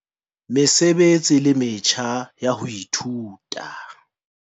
Mesebetsi le metjha ya ho ithuta.